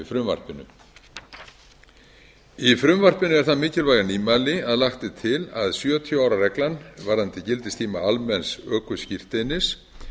frumvarpinu í frumvarpinu er það mikilvæga nýmæli að lagt er til að sjötíu ára reglan varðandi gildistíma almenns ökuskírteinis